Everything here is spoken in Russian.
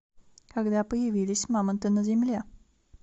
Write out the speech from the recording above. когда появились мамонты на земле